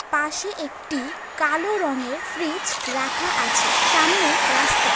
পাশে একটি কালো রঙের ফ্রিজ রাখা আছে সামনে রাস্তা --